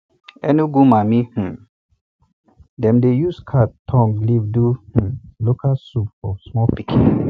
enugu mami um dem dey use cat tongue leaf do um local soup for small pikin